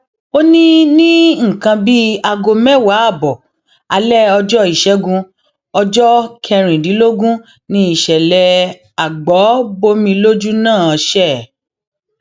ó ní ní nǹkan bíi aago mẹwàá ààbọ alẹ ọjọ ìṣẹgun ọjọ kẹrìndínlógún ni ìṣẹlẹ agbo bọmi lójú náà ṣe